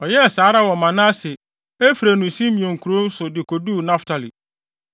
Ɔyɛɛ saa ara wɔ Manase, Efraim ne Simeon nkurow so de koduu Naftali.